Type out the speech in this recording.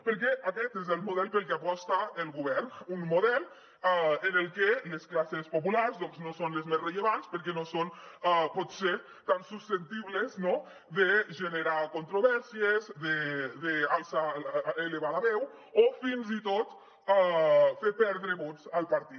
perquè aquest és el model pel que aposta el govern un model en el que les classes populars no són les més rellevants perquè no són potser tan susceptibles no de generar controvèrsies d’elevar la veu o fins i tot de fer perdre vots al partit